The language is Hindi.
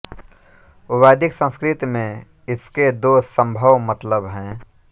वैदिक संस्कृत में इसके दो सम्भव मतलब हैं